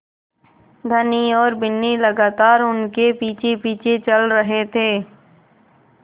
धनी और बिन्नी लगातार उनके पीछेपीछे चल रहे थे